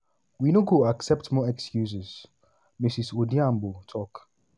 we no go accept more excuses" ms odhiambo tok.